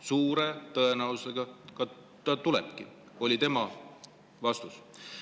" Suure tõenäosusega tulebki, oli tema vastus.